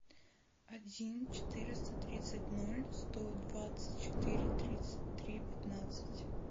один четыреста тридцать ноль сто двадцать четыре тридцать три пятнадцать